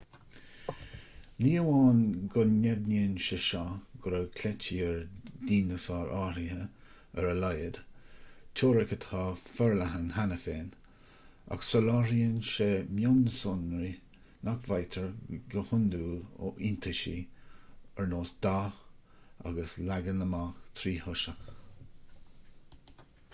ní amháin go ndeimhníonn sé seo go raibh cleití ar dhineasáir áirithe ar a laghad teoiric atá forleathan cheana féin ach soláthraíonn sé mionsonraí nach bhfaightear go hiondúil ó iontaisí ar nós dath agus leagan amach tríthoiseach